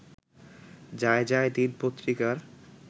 যায়যায় দিন পত্রিকার